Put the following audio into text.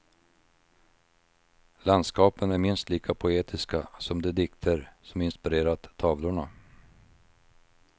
Landskapen är minst lika poetiska som de dikter, som inspirerat tavlorna.